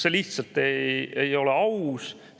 See lihtsalt ei ole aus!